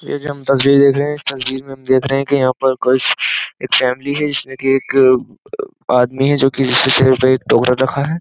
ये जो हम तसवीर देख रहे हैं इस तसवीर में हम देख रहे हैं कि यहां पर कुछ एक फैमिली है जिसमें कि एक आदमी है जो कि इसके एक टोकरा रखा है।